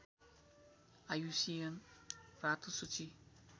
IUCN रातो सूची